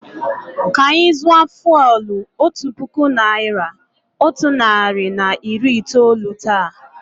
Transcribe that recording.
Kà anyị zụọ fụ́élú otu puku naị́ra, otu narị na iri itoolu taa.